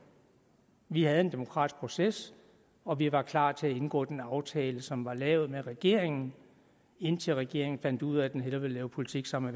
vi havde en demokratisk proces og vi var klar til at indgå den aftale som var lavet med regeringen indtil regeringen fandt ud af at den hellere ville lave politik sammen